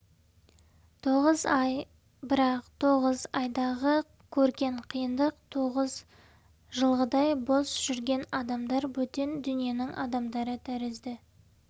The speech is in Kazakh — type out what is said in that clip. тоғыз-ақ ай бірақ тоғыз айдағы көрген қиындық тоғыз жылдағыдай бос жүрген адамдар бөтен дүниенің адамдары тәрізді